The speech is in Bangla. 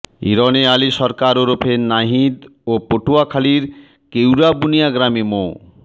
ইবনে আলী সরকার ওরফে নাহিদ ও পটুয়াখালির কেউরাবুনিয়া গ্রামের মো